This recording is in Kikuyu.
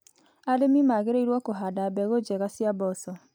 Arĩmi magĩrĩirwo kũhanda mbegũ njega cia mboco.